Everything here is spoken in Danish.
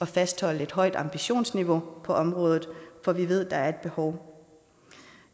fastholde et højt ambitionsniveau på området for vi ved der er et behov